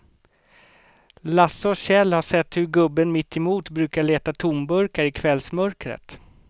Lasse och Kjell har sett hur gubben mittemot brukar leta tomburkar i kvällsmörkret.